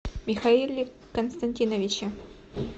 михаиле константиновиче